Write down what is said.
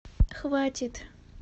хватит